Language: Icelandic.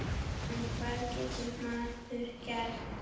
En hvað getur maður gert?